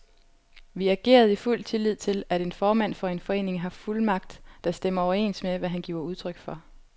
Vi agerede i fuld tillid til, at en formand for en forening har fuldmagt, der stemmer overens med, hvad han giver udtryk for.